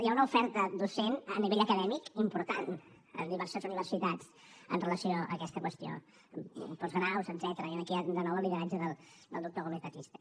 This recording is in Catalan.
hi ha una oferta docent a nivell acadèmic important en diverses universitats amb relació a aquesta qüestió postgraus etcètera i aquí hi ha de nou el lideratge del doctor gómez batiste